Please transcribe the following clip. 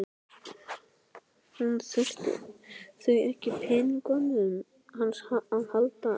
Hún þurfi því ekkert á peningunum hans að halda.